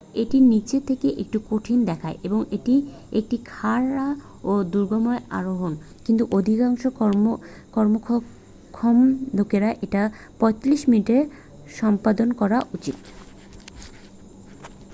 এটি নিচে থেকে একটু কঠিন দেখায় এবং এটি একটি খাড়া ও দুর্গম আরোহণ কিন্তু অধিকাংশ কর্মক্ষম লোকের এটা 45 মিনিটে সম্পাদন করা উচিত